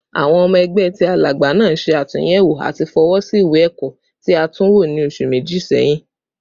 Awọn ọmọ ẹgbẹ ti Alagba naa ṣe atunyẹwo ati fọwọsi iwe-ẹkọ ti a tunwo ni oṣu meji sẹhin